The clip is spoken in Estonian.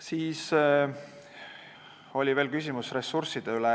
Siis oli veel küsimus ressursside kohta.